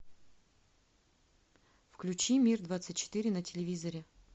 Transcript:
включи мир двадцать четыре на телевизоре